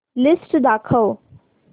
list दाखव